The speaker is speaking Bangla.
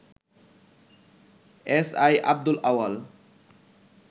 এসআই আব্দুল আউয়াল